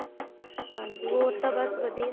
ਹਾਂਜੀ ਹੋਰ ਤਾਂ ਬੱਸ ਵਧੀਆ